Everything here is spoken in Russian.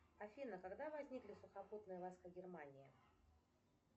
афина когда возникли сухопутные войска германии